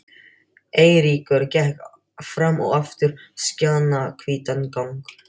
Eiríkur gekk fram og aftur skjannahvítan gang.